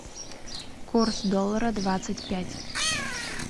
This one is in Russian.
курс доллара двадцать пять